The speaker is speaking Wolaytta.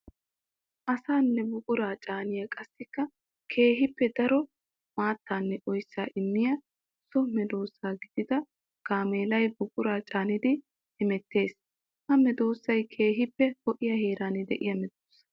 Asaanne buqura caaniya qassikka keehippe daro maatanne oyssa immiya so medosa gididda gaameellay buqura caaniddi hemettees. Ha medosay keehippe ho'iya heera de'iya medosa.